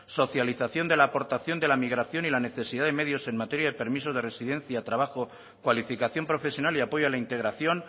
socialización de la aportación de la migración y la necesidad de medios en materia de permisos de residencia trabajo cualificación profesional y apoyo a la integración